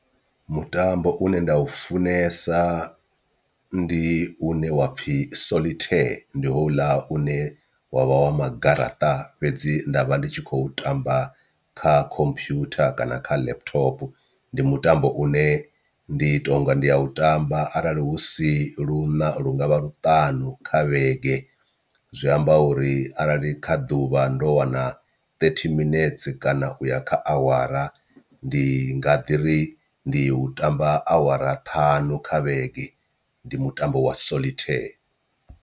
Mutambo une nda u funesa ndi une wa pfhi solitaire ndi houḽa une wavha wa magaraṱa fhedzi nda vha ndi tshi khou tamba kha computer kana kha laptop, ndi mutambo une ndi tonga ndi a u tamba arali hu si luṋa lu ngavha luṱanu kha vhege zwi amba uri arali kha ḓuvha ndo wana thirty minets kana uya kha awara ndi nga ḓiri ndi u tamba awara ṱhanu kha vhege ndi mutambo wa solitaire.